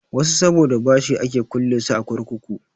Wasu saboda bashi ake kulle su a kurkuku.